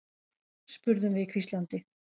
spurðum við hvíslandi.